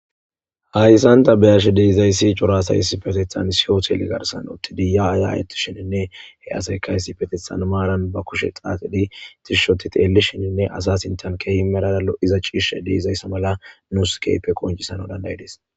hayssanta beyashe deizayssi cora asayssi patethan siyotele garsan uttidiya ayayoti shininne he asaykayssi patethan maaran ba kushe xaaxidi tishshoti teelli shininne asa sintan kehi meraalo iza ciishe deizayssa mala nuus keepe qoncisano dandayidis